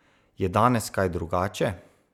Je danes kaj drugače?